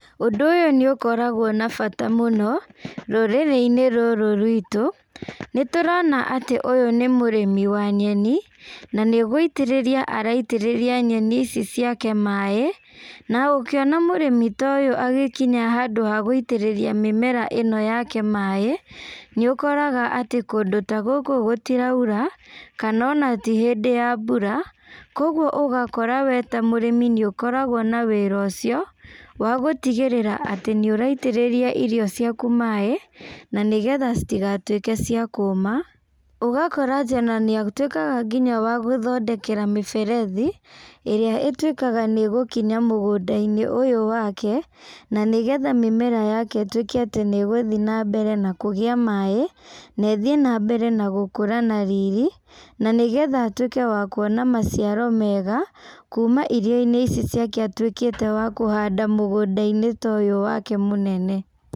Ũndũ ũyũ nĩũkoragwo na bata mũno, rũrĩrĩ-inĩ rũrũ rwitũ, nĩtũrona atĩ ũyũ nĩ mũrĩmi wa nyeni, na nĩgũitĩrĩria araitĩrĩria nyeni ici ciake maĩ, na ũkĩona mũrĩmi ta ũyũ agĩkinya handũ haguitĩrĩria mĩmera ĩno yake maĩ, nĩũkoraga atĩ kũndũ ta gũkũ ũũ gũtirauta, kana ona ti hĩndĩ ya mbura, koguo ũgakora we ta mũrĩmi nĩũkoragwo na wĩra ũcio, wagũtigĩrĩra atĩ nĩũraitĩrĩria irio ciaku maĩ, na nĩgetha citigatuĩke cia kũma, ũgakora atĩ ona nĩatuĩkaga nginya wa gũthondekera mĩberethi, ĩrĩa ĩtuĩkaga nĩgũkinya mũgũndainĩ ũyũ wake, na nĩgetha mĩmera yake ituĩke atĩ nĩgũthiĩ nambere na kũgĩa maĩ, na ĩthiĩ nambere na gũkũra na riri, na nĩgetha atuĩke wa kuona maciaro mega, kuma irioinĩ ici ciake atuĩkĩta wa kũhanda mũgũndainĩ ta ũyũ wake mũnene.